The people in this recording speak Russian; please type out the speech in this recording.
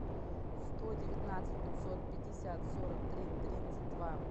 сто девятнадцать пятьсот пятьдесят сорок три тридцать два